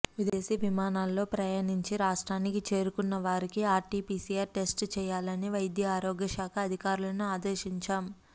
విదేశీ విమానాల్లో ప్రయాణించి రాష్ట్రానికి చేరుకున్న వారికి ఆర్టిపిసిఆర్ టెస్ట్ చేయాలని వైద్య ఆరోగ్య శాఖ అధికారులను అదేశించాం